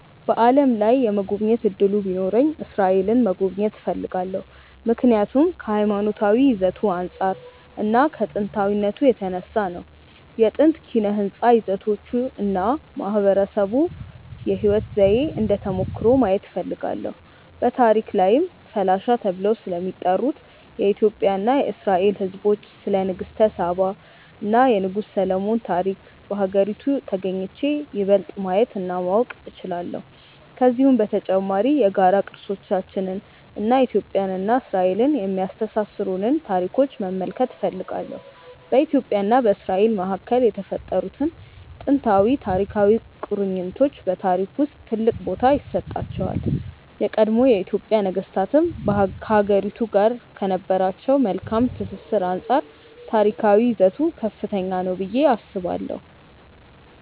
በዓለም ላይ የመጎብኘት እድሉ ቢኖረኝ እስራኤልን መጎብኘት እፈልጋለሁ። ምክንያቱም ከሀይማኖታዊ ይዘቱ አንፃር እና ከጥንታዊነቱ የተነሳ ነው። የጥንት ኪነ ህንፃ ይዘቶቹን እና የማህበረሰቡን የህይወት ዘዬ እንደ ተሞክሮ ማየት እፈልጋለሁ። በታሪክ ላይም ፈላሻ ተብለው ስለሚጠሩት የኢትዮጵያ እና የእስራኤል ህዝቦች፣ ስለ ንግስተ ሳባ እና የንጉስ ሰሎሞን ታሪክ በሀገሪቱ ተግኝቼ ይበልጥ ማየት እና ማወቅ እችላለሁ። ከዚሁም በተጨማሪ የጋራ ቅርሶቻችንን እና ኢትዮጵያን እና እስራኤልን የሚያስተሳስሩንን ታሪኮች መመልከት እፈልጋለሁ። በኢትዮጵያ እና በእስራኤል መካከል የተፈጠሩት ጥንታዊና ታሪካዊ ቁርኝቶች በታሪክ ውስጥ ትልቅ ቦታ ይሰጣቸዋል። የቀድሞ የኢትዮጵያ ነገስታትም ከሀገሪቱ ጋር ከነበራቸው መልካም ትስስር አንፃር ታሪካዊ ይዘቱ ከፍተኛ ነው ብዬ አስባለሁ።